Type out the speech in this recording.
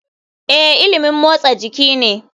Ee, ilimin motsa jiki ne.